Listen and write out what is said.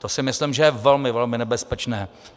To si myslím, že je velmi, velmi nebezpečné.